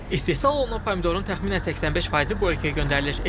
İstehsal olunan pomidorun təxminən 85%-i bu ölkəyə göndərilir.